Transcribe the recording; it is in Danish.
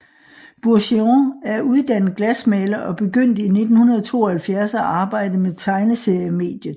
Bourgeon er uddannet glasmaler og begyndte i 1972 at arbejde med tegneseriemediet